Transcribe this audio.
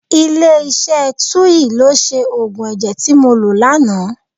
Ilé iṣẹ́ Tuyil ló ṣe òògùn ẹ̀jẹ̀ tí mo lò lánàá.